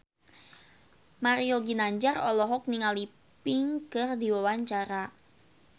Mario Ginanjar olohok ningali Pink keur diwawancara